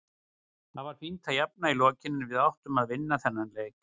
Það var fínt að jafna í lokin en við áttum að vinna þennan leik.